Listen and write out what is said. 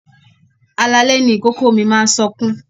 Alalẹ́ ni ìkòkò mi máa ń sọkún.